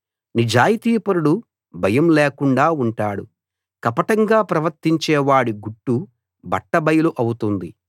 నిజాయితీపరుడు భయం లేకుండా ఉంటాడు కపటంగా ప్రవర్తించేవాడి గుట్టు బట్ట బయలు అవుతుంది